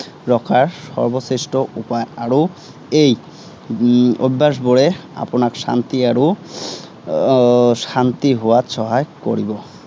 ৰখাৰ সৰ্বশ্ৰেষ্ঠ উপায় আৰু এই উম অভ্য়াসবোৰে আপোনাক শান্তি আৰু আহ শান্তি হোৱাত সহায় কৰিব।